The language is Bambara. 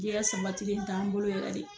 Jɛgɛ sanbatigi in t'an bolo yɛrɛ de.